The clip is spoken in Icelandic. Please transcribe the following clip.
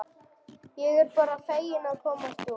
Ég er bara fegin að komast út!